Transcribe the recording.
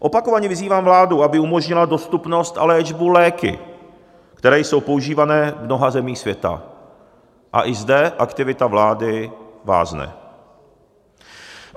Opakovaně vyzývám vládu, aby umožnila dostupnost a léčbu léky, které jsou používané v mnoha zemích světa, a i zde aktivita vlády vázne.